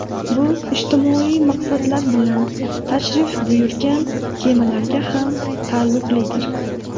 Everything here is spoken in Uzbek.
Bu ijtimoiy maqsadlar bilan tashrif buyurgan kemalarga ham taalluqlidir.